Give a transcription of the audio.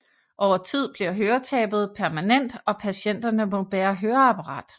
Over tid bliver høretabet permanent og patienterne må bære høreapparat